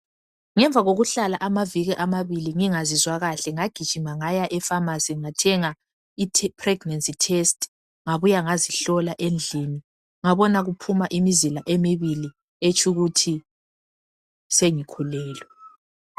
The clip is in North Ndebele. Ngemva kokuhlala amaviki amabili ngingazizwa kahle ngagijima ngaya epharmacy ngathenga ipregnancy test ngabuya ngazihlola endlini ngabona kuphuma imizila emibili etshu kuthi sengikhulelwe